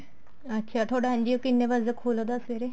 ਅੱਛਾ ਥੋੜਾ NGO ਕਿੰਨੇ ਵਜੇ ਖੁੱਲਦਾ ਸਵੇਰੇ